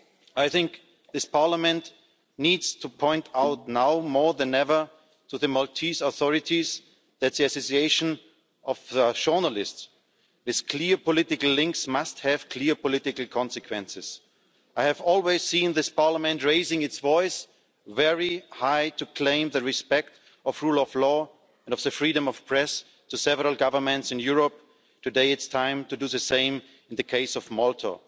I think this Parliament needs to point out, now more than ever, to the Maltese authorities that the assassination of journalists with clear political links must have clear political consequences. I have always seen this Parliament raising its voice very high to claim the respect of rule of law and of the freedom of the press to several governments in Europe. Today, it's time to do the same in the case of Malta.